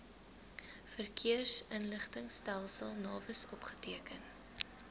verkeersinligtingstelsel navis opgeteken